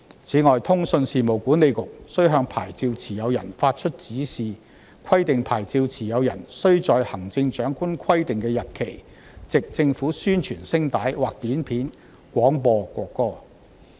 此外，通訊事務管理局須向牌照持有人發出指示，規定牌照持有人須在行政長官規定的日期，藉政府宣傳聲帶或短片廣播國歌。